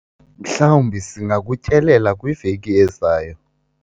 mhlawumbi singakutyelela kwiveki ezayo